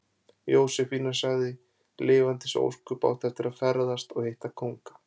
Jósefína sagði: Lifandis ósköp áttu eftir að ferðast. og hitta kónga.